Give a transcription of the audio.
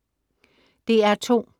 DR2: